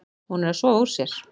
Hún er að sofa úr sér.